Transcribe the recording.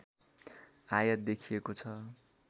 आयात देखिएको छ